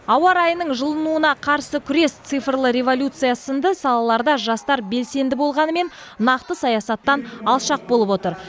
ауа райының жылынуына қарсы күрес цифрлы революция сынды салаларда жастар белсенді болғанымен нақты саясаттан алшақ болып отыр